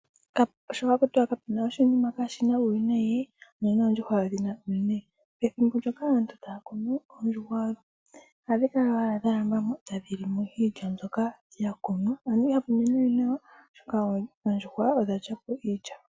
Sho haku tiwa kapena oshinima kashina uuwinayi noondjuhwa wo ondhina uuwinayi pethimbo ndoka aantu taa kunu oondjuhwa ohadhi kala wala dha lamba ta dhi limo iilya mbyoka ya kunwa ano ihapu mene we nawa oshoka oondjuhwa odha lyapo iilya.